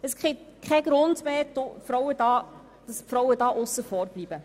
Es gibt keinen Grund mehr, dass die Frauen hier aussen vor bleiben.